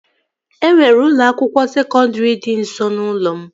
E nwere ụlọ akwụkwọ sekọndri dị nso n'ụlọ m